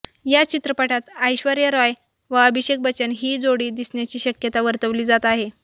या चित्रपटात ऐश्वर्या रॉय व अभिषेक बच्चन ही जोडी दिसण्याची शक्यता वर्तवली जात आहे